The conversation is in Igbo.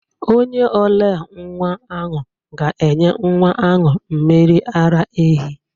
Onye ole nwa ahụ ga-enye nwa ahụ mmiri ara ehi.